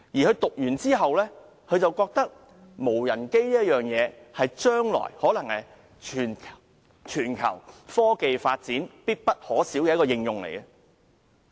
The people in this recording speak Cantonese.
畢業後，他覺得無人機在將來可能是全球科技發展必不可少的應用產品。